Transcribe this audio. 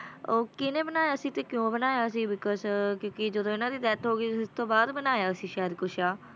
ਉਹ ਕਿਹਨੇ ਬਣਾਇਆ ਸੀ ਤੇ ਕਿਉਂ ਬਣਾਇਆ ਸੀ because ਕਿਉਂਕਿ ਜਦੋਂ ਇਹਨਾਂ ਦੀ death ਹੋ ਗਈ ਸੀ ਉਸ ਤੋਂ ਬਾਅਦ ਬਣਾਇਆ ਸੀ ਸ਼ਾਇਦ ਕੁਛ ਆ